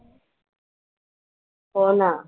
हो ना.